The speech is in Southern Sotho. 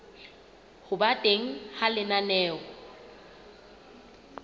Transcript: ho ba teng ha lenaneo